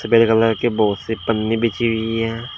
सफेद कलर के बहुत से पन्नी बिछी हुई है।